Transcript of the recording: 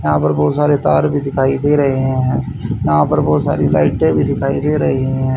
यहां पर बहुत सारे तार भी दिखाई दे रहे हैं यहां पर बहुत सारी लाइटें भी दिखाई दे रही हैं।